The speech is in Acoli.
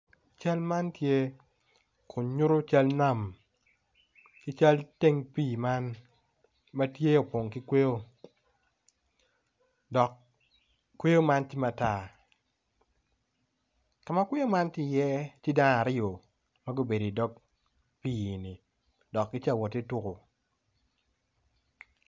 Cal man tye kin nyuto cal nam ki cal teng pii man opong ki kweyo dok kweyo man tye matar, kama kweyo man tye iye tye dano aryo ma gubedo i dog pii-ni dok gitye ka wot ki tuko.